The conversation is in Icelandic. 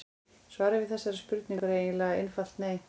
Svarið við þessari spurningu er eiginlega einfalt nei.